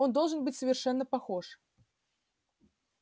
он должен быть совершенно похож